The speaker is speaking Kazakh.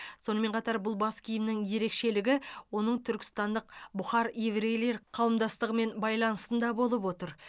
сонымен қатар бұл бас киімнің ерекшелігі оның түркістандық бұхар еврейлер қауымдастығымен байланысында болып отыр